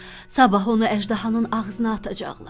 Sabah onu əjdahanın ağzına atacaqlar.